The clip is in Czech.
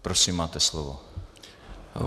Prosím, máte slovo.